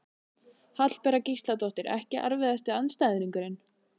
Hallbera Gísladóttir Ekki erfiðasti andstæðingur?